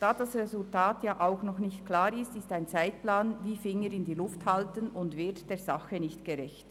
Da das Resultat noch nicht klar ist, wäre ein Zeitplan etwas, wie den Finger in die Luft zu halten, und würde der Sache nicht gerecht.